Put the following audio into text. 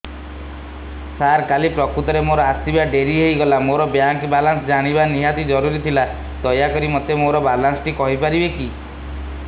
ସାର କାଲି ପ୍ରକୃତରେ ମୋର ଆସିବା ଡେରି ହେଇଗଲା ମୋର ବ୍ୟାଙ୍କ ବାଲାନ୍ସ ଜାଣିବା ନିହାତି ଜରୁରୀ ଥିଲା ଦୟାକରି ମୋତେ ମୋର ବାଲାନ୍ସ ଟି କହିପାରିବେକି